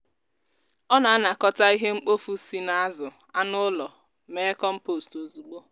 ọ na-anakọta ihe mkpofu si n'azụ anụ ụlọ mee kọmpost ozugbo.